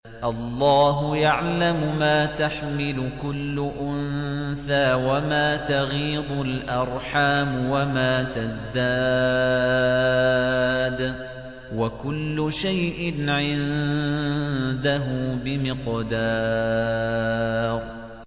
اللَّهُ يَعْلَمُ مَا تَحْمِلُ كُلُّ أُنثَىٰ وَمَا تَغِيضُ الْأَرْحَامُ وَمَا تَزْدَادُ ۖ وَكُلُّ شَيْءٍ عِندَهُ بِمِقْدَارٍ